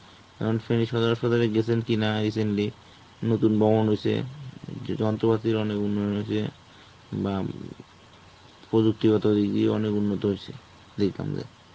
এখন সদর হাসপাতাল এ গেছেন কিনা recently নতুন বহন হইছে. যে যন্ত্রপাতির অনেক উন্নয়ন হইছে. অ্যাঁ প্রযুক্তিগত দিক দিয়ে অনেক উন্নত হয়েছে দেখলাম যায়ে